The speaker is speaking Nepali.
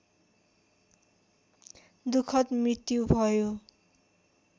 दुःखद् मृत्यु भयो